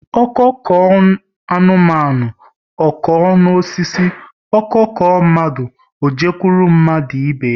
Ọko koo anụmanụ, ọ kọọ n'osisi, ọ kọọ mmadụ, ọ jekwuru mmadụ ibe ya